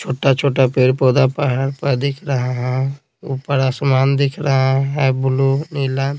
छोटा-छोटा पेड़-पौधा पहाड़ पर दिख रहा है ऊपर आसमान दिख रहा है ब्लू नीला।